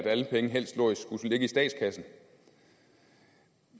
at alle penge helst skulle ligge i statskassen